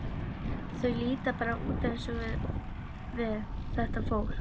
Þau líta bara út eins og við, þetta fólk.